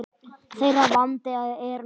Þeirra vandi er nokkur.